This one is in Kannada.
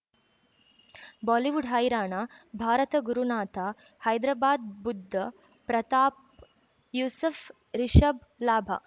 ಬಾಲಿವುಡ್ ಹೈರಾಣ ಭಾರತ ಗುರುನಾಥ ಹೈದರಾಬಾದ್ ಬುಧ್ ಪ್ರತಾಪ್ ಯೂಸುಫ್ ರಿಷಬ್ ಲಾಭ